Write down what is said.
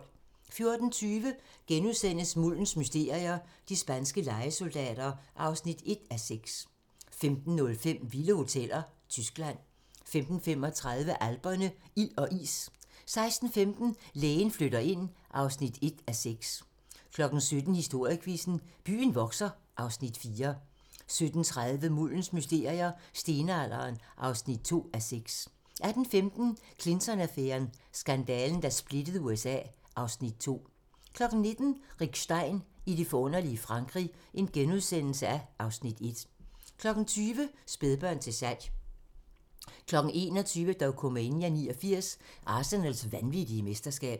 14:20: Muldens mysterier - de spanske lejesoldater (1:6)* 15:05: Vilde hoteller - Tyskland 15:35: Alperne - ild og is 16:15: Lægen flytter ind (1:6) 17:00: Historiequizzen: Byen vokser (Afs. 4) 17:30: Muldens mysterier - Stenalderen (2:6) 18:15: Clinton-affæren: Skandalen, der splittede USA (Afs. 2) 19:00: Rick Stein og det forunderlige Frankrig (Afs. 1)* 20:00: Spædbørn til salg 21:00: Dokumania: 89 - Arsenals vanvittige mesterskab